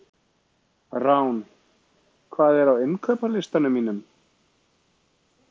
Rán, hvað er á innkaupalistanum mínum?